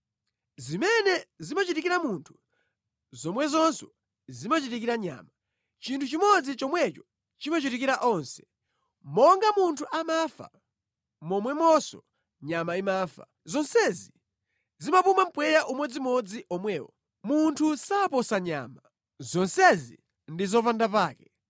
Zimene zimachitikira munthu, zomwezonso zimachitikira nyama; chinthu chimodzi chomwecho chimachitikira onse: Monga munthu amafa momwemonso nyama imafa. Zonsezi zimapuma mpweya umodzimodzi omwewo; munthu saposa nyama. Zonsezi ndi zopandapake.